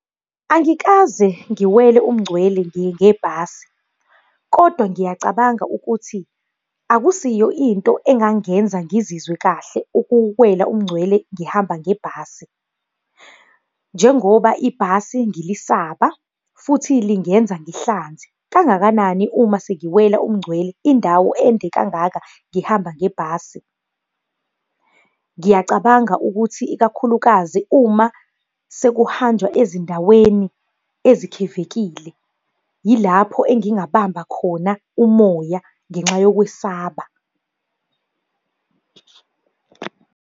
Angikaze ngiwele umngcwele ngebhasi. Kodwa ngiyacabanga ukuthi, akusiyo into engangenza ngizwe kahle ukuwela umngcwele ngihamba ngebhasi. Njengoba ibhasi ngilisaba, futhi lingenza ngihlanze, kangakanani uma sengiwela umngcwele indawo ende kangaka ngihamba ngebhasi. Ngiyacabanga ukuthi ikakhulukazi uma sekuhanjwa ezindaweni ezikhevekile, yilapho engingahamba khona umoya ngenxa yokwesaba.